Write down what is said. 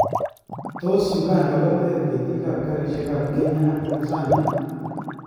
Tos Uganda koteer ketiiikab karisiek ab Kenya ak Tanzania ?